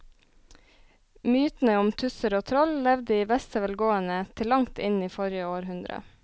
Mytene om tusser og troll levde i beste velgående til langt inn i forrige århundre.